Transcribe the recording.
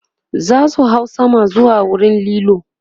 zasu hau sama zuwa wurin kallo